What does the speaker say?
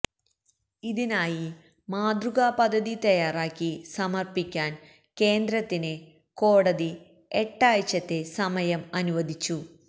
ഇതിനായി മാതൃകാ പദ്ധതി തയാറാക്കി സമര്പ്പിക്കാന് കേന്ദ്രത്തിന് കോടതി എട്ടാഴ്ചത്തെ സമയം അനുവദിച്ചു